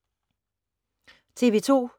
TV 2